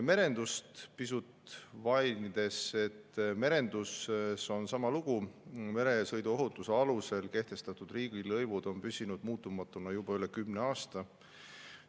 Merendust pisut mainides, sama lugu: meresõiduohutuse alusel kehtestatud riigilõivud on püsinud muutumatuna juba üle kümne aasta.